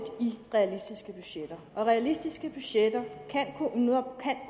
i realistiske budgetter og realistiske budgetter kan